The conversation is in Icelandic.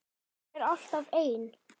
Ég er alltaf ein.